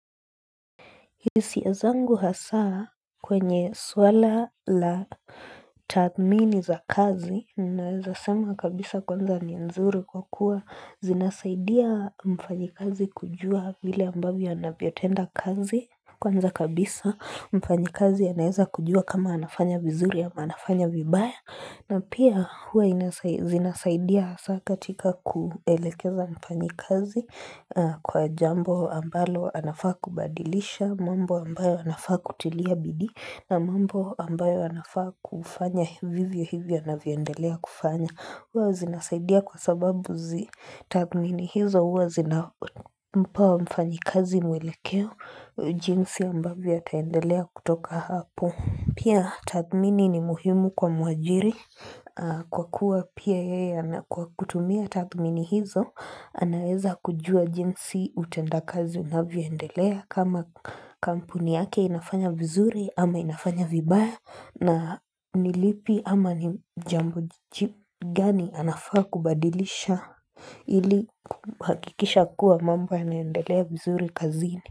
Hisia zangu hasa kwenye swala la tathmini za kazi, ninaeza sema kabisa kwanza ni nzuri kwa kuwa zinasaidia mfanyikazi kujua vile ambavyo anavyotenda kazi. Kwanza kabisa mfanyikazi anaeza kujua kama anafanya vizuri ama anafanya vibaya na pia huwa zinasaidia saa katika kuelekeza mfanyikazi kwa jambo ambalo anafaa kubadilisha mambo ambayo anafaa kutilia bidii na mambo ambayo anafaa kufanya vivyo hivyo anavyoendelea kufanya Huwa zinasaidia kwa sababu tathmini hizo huwa zinampa mfanyi azi mwelekeo jinsi ambavyo ataendelea kutoka hapo. Pia tathmini ni muhimu kwa mwajiri kwa kuwa pia yeye kwa kutumia tathmini hizo anaeza kujua jinsi utenda kazi unavyoendelea. Kama kampuni yake inafanya vizuri ama inafanya vibaya na nilipi ama ni jambo gani anafaa kubadilisha ili kuhakikisha kuwa mambo yanaendelea vizuri kazini.